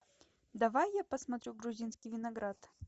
давай я посмотрю грузинский виноград